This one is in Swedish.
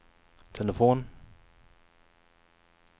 telefon